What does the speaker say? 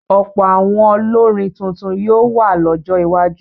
Ọ̀pọ̀ àwọn olórin tuntun ni yóò wà lọ́jọ́ iwájú.